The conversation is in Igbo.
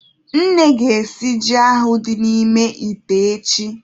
Nne ga-esi ji ahụ dị n'ime ite echi.